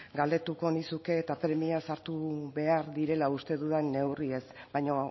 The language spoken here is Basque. galdetu nizuke eta premiaz hartu behar direla uste dudan neurriez baina